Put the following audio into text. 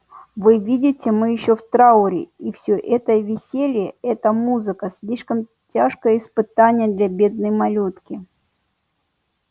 вы видите мы ещё в трауре и все это веселье эта музыка слишком тяжкое испытание для бедной малютки